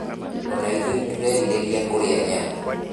Ona ithuĩ nĩtũrerirĩria kũrĩa nyama